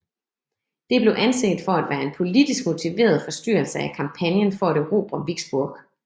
Det blev anset for at være en politisk motiveret forstyrrelse af kampagnen for at erobre Vicksburg